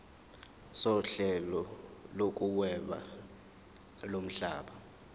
sohlelo lokuhweba lomhlaba